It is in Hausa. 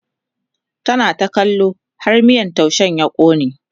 tana ta kallo har miyan taushen ya kone